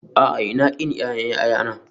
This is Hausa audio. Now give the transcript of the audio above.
A'a, Ina ƙin ƴaƴan ƴaƴana